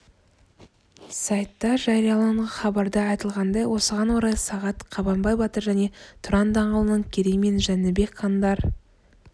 сайтта жарияланған хабарда айтылғандай осыған орай сағат қабанбай батыр және тұран даңғылының керей мен жәнібек хандар